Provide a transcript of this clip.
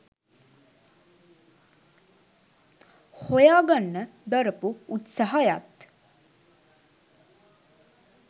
හොයාගන්න දරපු උත්සහයත්